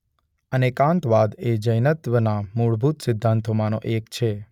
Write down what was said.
અનેકાંતવાદ એ જૈનત્વના મૂળભૂત સિદ્ધાંતોમાં નો એક છે.